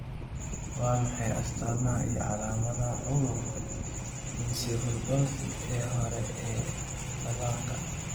Waa maxay astaamaha iyo calaamadaha cudurka encephalopathy ee hore ee dhallaanka?